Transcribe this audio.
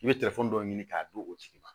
I bɛ dɔw ɲini k'a d'u tigi ma